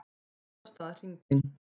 Lagt af stað hringinn